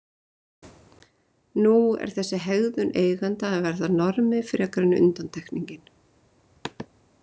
Nú er þessi hegðun eigenda að verða normið frekar en undantekningin.